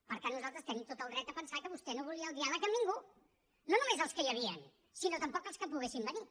per tant nosaltres tenim tot el dret a pensar que vostè no volia el diàleg amb ningú no només els que hi havien sinó tampoc els que poguessin venir